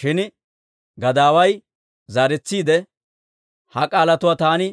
Shin gadaaway zaaretsiide, «Ha k'aalatuwaa taani